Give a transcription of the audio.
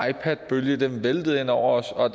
ipadbølge væltede ind over os og at